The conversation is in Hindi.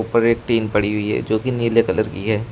ऊपर एक टिन पड़ी हुई है जो की नीले कलर की है।